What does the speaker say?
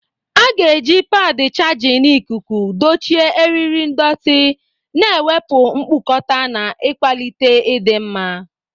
A ga-eji padi chajịn ikuku dochie eriri ndọtị, na-ewepụ mkpukota na ịkwalite ịdị mma.